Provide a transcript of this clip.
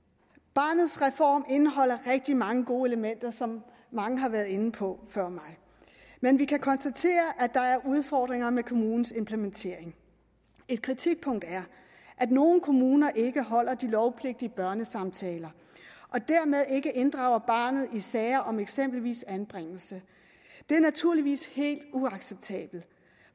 barnets reform indeholder rigtig mange gode elementer som mange har været inde på før mig men vi kan konstatere at der er udfordringer med kommunens implementering et kritikpunkt er at nogle kommuner ikke holder de lovpligtige børnesamtaler og dermed ikke inddrager barnet i sager om eksempelvis anbringelse det er naturligvis helt uacceptabelt